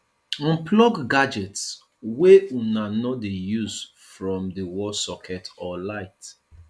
unplug gadgets wey una no dey use from di wall socket or light